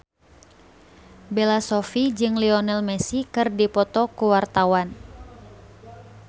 Bella Shofie jeung Lionel Messi keur dipoto ku wartawan